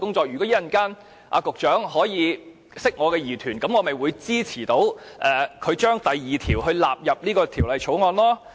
如果局長稍後可以釋除我的疑團，我便會支持把第2條納入《條例草案》。